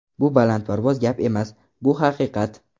Bu balandparvoz gap emas, bu haqiqat.